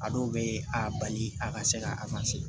A dɔw bɛ a bali a ka se ka